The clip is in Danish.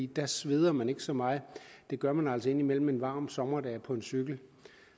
der sveder man ikke så meget det gør man altså indimellem en varm sommerdag på en cykel